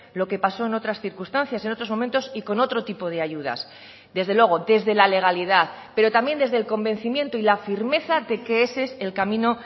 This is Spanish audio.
lo que pasó en otras circunstancias en otros momentos y con otro tipo de ayudas desde luego desde la legalidad pero también desde el convencimiento y la firmeza de que ese es el camino